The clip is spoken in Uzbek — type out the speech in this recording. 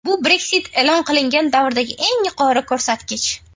Bu Brexit e’lon qilingan davrdagi eng yuqori ko‘rsatkich.